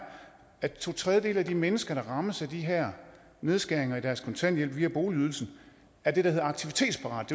at to tredjedele af de mennesker der rammes af de her nedskæringer i deres kontanthjælp via boligydelsen er det der hedder aktivitetsparate